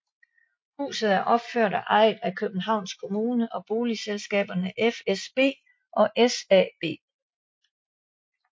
Huset er opført og ejet af Københavns Kommune og boligselskaberne FSB og SAB